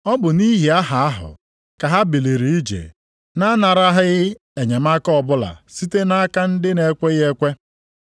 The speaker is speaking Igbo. Ọ bụ nʼihi aha + 1:7 Aha a na-ekwu banyere ya bụ Kraịst. ahụ ka ha biliri ije, na-anaraghị enyemaka ọbụla site nʼaka ndị na-ekweghị ekwe.